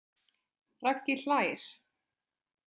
Raggi hlær.